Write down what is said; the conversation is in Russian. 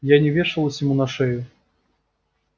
я не вешалась ему на шею